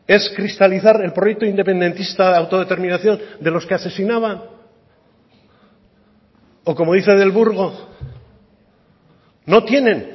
es cristalizar el proyecto independentista de autodeterminación de los que asesinaban o como dice del burgo no tienen